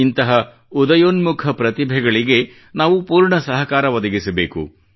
ಇಂತಹ ಉದಯೋನ್ಮುಖ ಪ್ರತಿಭೆಗಳಿಗೆ ನಾವು ಪೂರ್ಣ ಸಹಕಾರ ಒದಗಿಸಬೇಕು